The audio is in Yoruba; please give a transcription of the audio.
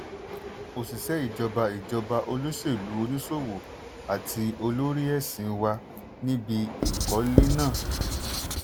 òṣìṣẹ́ ìjọba ìjọba olóṣèlú oníṣòwò àti olórí ẹ̀sìn wà níbi ìkọ́lé náà.